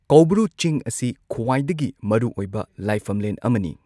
ꯀꯧꯕ꯭ꯔꯨ ꯆꯤꯡ ꯑꯁꯤ ꯈ꯭ꯋꯥꯏꯗꯒꯤ ꯃꯔꯨꯑꯣꯏꯕ ꯂꯥꯏꯐꯝꯂꯦꯟ ꯑꯃꯅꯤ꯫